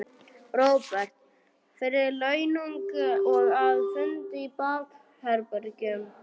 Róbert: Fyrir launung og að, fundi í bakherbergjum?